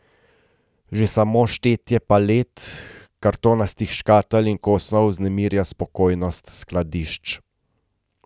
Že samo štetje palet, kartonastih škatel in kosov vznemirja spokojnost skladišč.